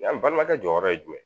n balimakɛ jɔyɔrɔ ye jumɛn ye